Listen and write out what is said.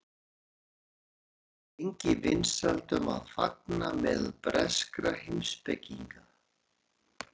nafnhyggjan átti lengi vinsældum að fagna meðal breskra heimspekinga